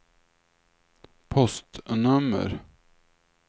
postnummer